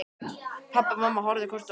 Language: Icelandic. Pabbi og mamma horfðu hvort á annað.